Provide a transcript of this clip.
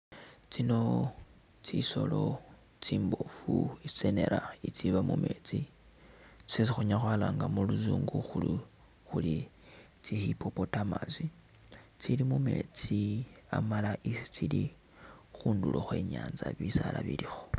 Tsino tsisoolo tsimboofu itsenera itsiiba mumeetsi tsyesi khunyaala khwalaanga muluzungu khuri tsi hippopotamus tsi amala isi tsili khundulo khwe i'nyaanza bisaala bilikho.